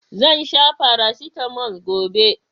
Zan sha farasitamol gobe.